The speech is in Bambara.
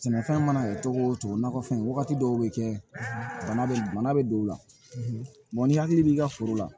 Sɛnɛfɛn mana kɛ cogo o cogo nakɔfɛn wagati dɔw bɛ kɛ bana bɛ bana bɛ don u la n'i hakili b'i ka foro la